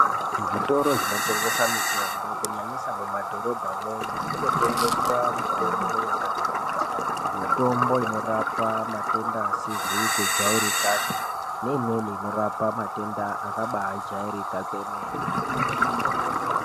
Zvitoro zvinotengese mitombo, kunyayisa mumadhorobha mumo ,munotengeswa mitombo yakati kuti ,mitombo inorapa matenda asizi kujairika neimwe inorapa matenda akabajairika kwemeni.